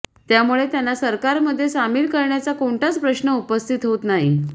त्यामुळे त्यांना सरकारमध्ये सामील करण्याचा कोणताच प्रश्न उपस्थित होत नाही